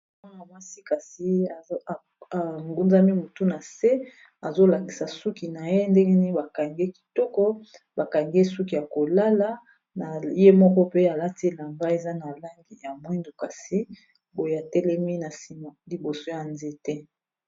Mwana mwasi kasi angunzami mutu na se azolakisa suki na ye ndenge nini bakangi ye kitoko bakangi ye suki ya kolala na ye moko pe alati elamba eza na langi ya mwindu kasi boye atelemi na nsima liboso ya nzete.